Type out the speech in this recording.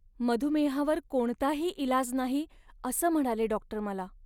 मधुमेहावर कोणताही इलाज नाही असं म्हणाले डॉक्टर मला.